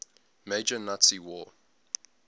major nazi war